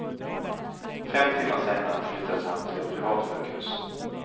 Fem timmar senare flyttades han till ett privatsjukhus.